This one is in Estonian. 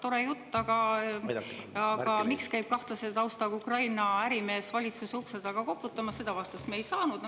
No tore jutt, aga miks käib kahtlase taustaga Ukraina ärimees valitsuse ukse taga koputamas, seda vastust me ei saanud.